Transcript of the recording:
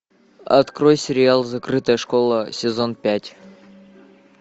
открой сериал закрытая школа сезон пять